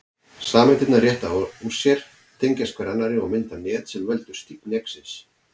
Sameindirnar rétta úr sér, tengjast hver annarri og mynda net sem veldur stífni eggsins.